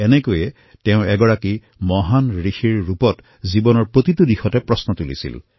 এইদৰেই তেওঁ এক মহান ঋষিৰ ৰূপত জীৱনৰ প্ৰতিটো পৰ্যায়ৰে প্ৰশ্ন কৰিছিল